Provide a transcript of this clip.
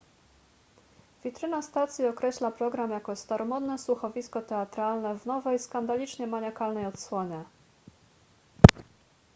witryna stacji określa program jako staromodne słuchowisko teatralne w nowej skandalicznie maniakalnej odsłonie